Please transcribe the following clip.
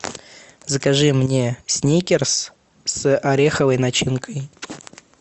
закажи мне сникерс с ореховой начинкой